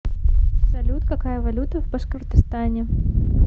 салют какая валюта в башкортостане